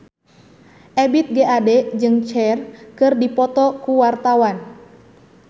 Ebith G. Ade jeung Cher keur dipoto ku wartawan